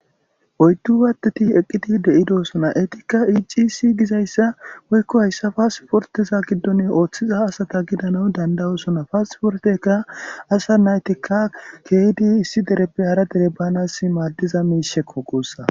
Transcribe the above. Oyddu waateti eqqidi de'idosona eetikka icisi gizayssa woykko hayssa paasiforteza giddon ooththiza asata gidana dandayosona paasporteka asa naytikka keeydi issi dereppe hara dere baanas maaddiza miishekko qussa.